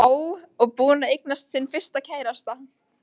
Já, og búin að eignast sinn fyrsta kærasta.